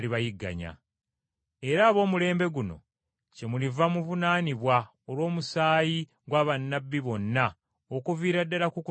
Era ab’omulembe guno kyemuliva muvunaanibwa olw’omusaayi gwa bannabbi bonna okuviira ddala ku kutondebwa kw’ensi,